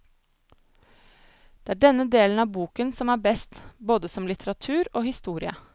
Det er denne delen av boken som er best, både som litteratur og historie.